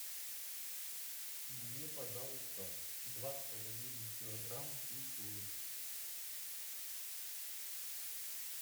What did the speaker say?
мне пожалуйста два с половиной килограмма свеклы